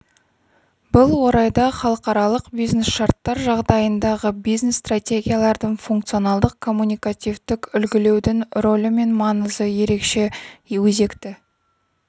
бұл орайда халықаралық бизнес-шарттар жағдайындағы бизнес стратегияларды функционалдық-коммуникативтік үлгілеудің рөлі мен маңызы ерекше өзекті